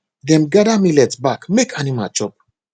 dem gather millet back make animal chop